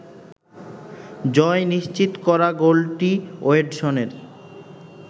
জয় নিশ্চিত করা গোলটি ওয়েডসনের